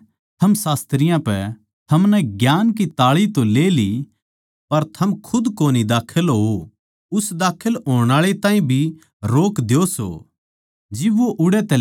धिक्कार सै थम शास्त्रियाँ पै थमनै ज्ञान की ताळी तो ली पर थम खुद कोनी बड़े बड़ण आळा ताहीं भी रोक द्यो सो